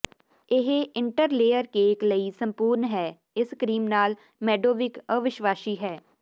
ਇਹ interlayer cake ਲਈ ਸੰਪੂਰਨ ਹੈ ਇਸ ਕ੍ਰੀਮ ਨਾਲ ਮੈਡੋਵਿਕ ਅਵਿਸ਼ਵਾਸੀ ਹੈ